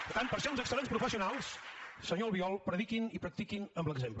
per tant per ser uns excel·lents professionals senyor albiol prediquin i practiquin amb l’exemple